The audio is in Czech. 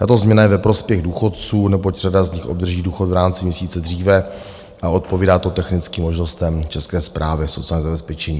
Tato změna je ve prospěch důchodců, neboť řada z nich obdrží důchod v rámci měsíce dříve, a odpovídá to technickým možnostem České správy sociálního zabezpečení.